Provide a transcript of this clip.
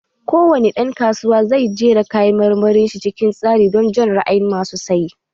Ko wani dan kasuwa zai jera kayan marmarin shi cikin tsari don jan ra'ayin masu saye